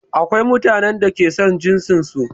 Akwai mutanen da ke son jinsin su